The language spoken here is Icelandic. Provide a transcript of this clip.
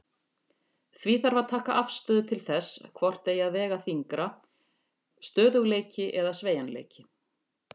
Því þarf að taka afstöðu til þess hvort eigi að vega þyngra, stöðugleiki eða sveigjanleiki.